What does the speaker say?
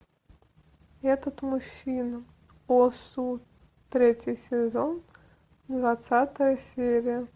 этот мужчина о су третий сезон двадцатая серия